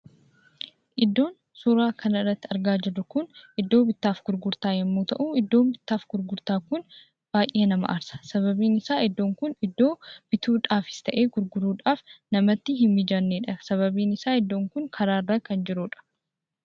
Iddoon suuraa kanarratti argaa jirru kun, iddoo bittaaf gurgurtaa yommuu ta'u, iddoon bittaaf gurgurtaa kun baayyee nama aarsa. Sababbiin isaa iddoon kun iddoo bituudhafis ta'ee gurguruudhaaf namatti hin mijannedha. Sababbiin isaa iddoon kun karaarra kan jirudha.